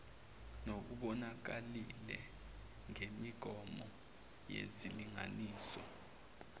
nokubonakalile ngemigomo yezilinganiso